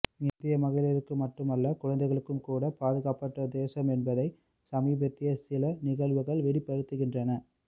India மகளிருக்கு மட்டுமல்ல குழந்தைகளுக்கும்கூட பாதுகாப்பற்ற தேசம் என்பதை சமீபத்திய சில நிகழ்வுகள் வெளிப்படுத்துகின்றன